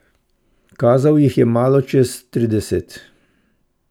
Kazal jih je malo čez trideset.